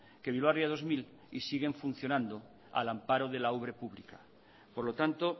que bilbao ría dos mil y siguen funcionando al amparo de la ubre pública por lo tanto